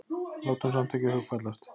Látum samt ekki hugfallast.